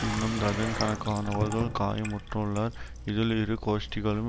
இன்னும் டஜன் கணக்கானவர்கள் காயமுற்றுள்ளர் இதில் இரு கோஷ்டிகளும்